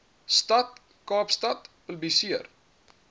stad kaapstad publiseer